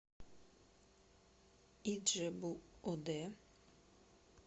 иджебу оде